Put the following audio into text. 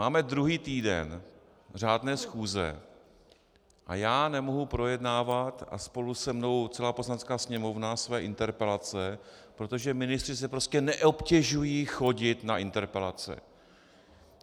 Máme druhý týden řádné schůze a já nemohu projednávat, a spolu se mnou celá Poslanecká sněmovna, své interpelace, protože ministři se prostě neobtěžují chodit na interpelace.